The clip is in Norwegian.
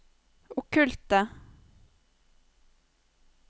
okkulte